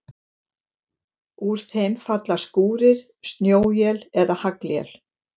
Úr þeim falla skúrir, snjóél eða haglél.